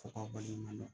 Fɔ k'a baliman dɔn